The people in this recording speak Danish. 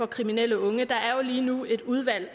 kriminelle unge der er jo lige nu et udvalg